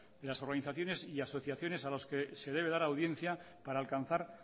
de las organizaciones y asociaciones a los que se debe dar audiencia para alcanzar